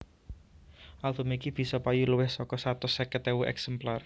Album iki bisa payu luwih saka satus seket ewu èksemplar